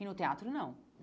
E no teatro, não.